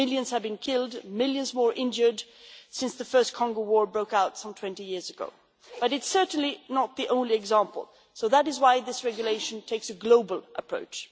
Millions have been killed, millions more injured since the first Congo war broke out some 20 years ago, but it is certainly not the only example, so that is why this regulation takes a global approach.